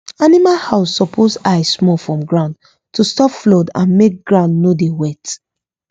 animal house suppose high small from ground to stop flood and make ground no dey wet